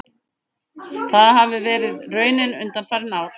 Það hafi verið raunin undanfarin ár